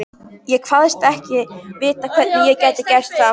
Ég kvaðst ekki vita, hvernig ég gæti gert það.